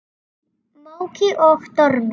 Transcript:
Í móki og dormi.